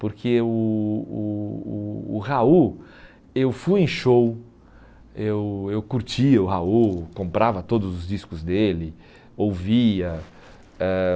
Porque o o o o Raul, eu fui em show, eu eu curtia o Raul, comprava todos os discos dele, ouvia. Ãh